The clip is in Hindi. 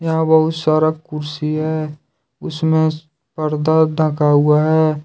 यहां बहुत सारा कुर्सी है उसमे पर्दा ढका हुआ है।